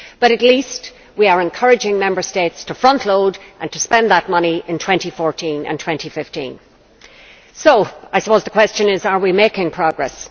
But at least we are encouraging Member States to frontload and to spend that money in 2014 and 2015. So I suppose the question is are we making progress?